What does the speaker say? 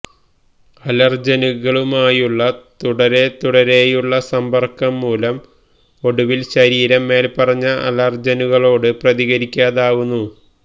അലര്ജനുകളുമായുള്ള തുടരെത്തുടരെയുള്ള സമ്പര്ക്കംമൂലം ഒടുവില് ശരീരം മേല്പറഞ്ഞ അലര്ജനുകളോട് പ്രതികരിക്കാതാവുന്നു